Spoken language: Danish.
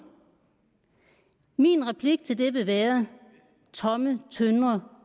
min replik til det vil være tomme tønder